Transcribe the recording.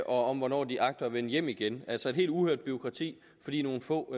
om hvornår de agter at vende hjem igen altså et helt uhørt bureaukrati fordi nogle få